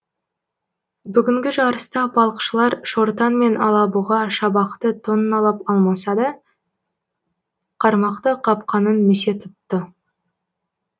бүгінгі жарыста балықшылар шортан мен алабұға шабақты тонналап алмаса да қармақты қапқанын місе тұтты